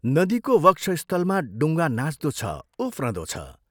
नदीको वक्षस्थलमा डुङ्गा नाच्दो छ, उफ्रँदो छ।